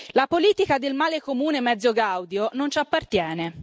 La politica del male comune mezzo gaudio non ci appartiene.